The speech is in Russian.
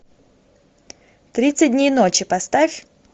тридцать дней ночи поставь